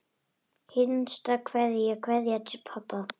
HINSTA KVEÐJA Kveðja til pabba.